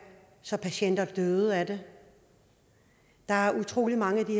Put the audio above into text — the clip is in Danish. så patienter døde af det der er utrolig mange af de